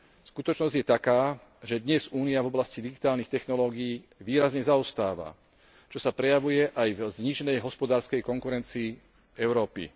Skutočnosť je taká, že dnes Únia v oblasti digitálnych technológií výrazne zaostáva, čo sa prejavuje aj v zníženej hospodárskej konkurencii Európy.